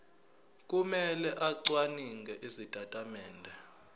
kumele acwaninge izitatimende